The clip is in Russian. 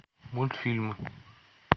мультфильмы